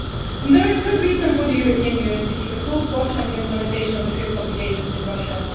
And there is good reason for the European Union to keep a close watch on the implementation of the TRIPS obligations in Russia.